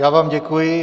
Já vám děkuji.